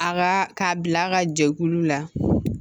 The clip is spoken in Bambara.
A ka k'a bila a ka jɛkulu la